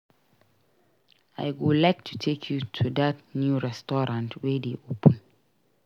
I go like take you to that new restaurant wey dey open.